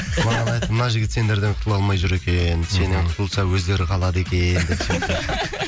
маған айтты мына жігіт сендерден құтыла алмай жүр екен сенен құтылса өздері қалады екен деп ше